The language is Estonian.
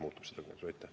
Peeter Ernits, palun!